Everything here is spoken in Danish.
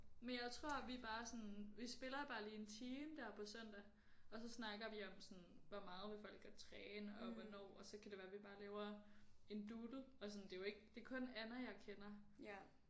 Men jeg tror vi bare sådan vi spiller bare lige en time der på søndag og så snakker vi om sådan hvor meget vil folk godt træne og hvornår og så kan det være vi bare laver en doodle og sådan det er jo ikke det er kun Anna jeg kender